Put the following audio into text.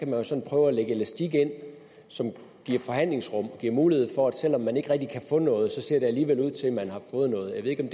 man så prøve at lægge elastik ind som giver forhandlingsrum og giver mulighed for at selv om man ikke rigtig kan få noget ser det alligevel ud til at man har fået noget jeg ved ikke